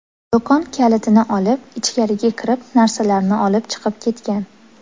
Do‘kon kalitini olib, ichgariga kirib narsalarni olib chiqib ketgan.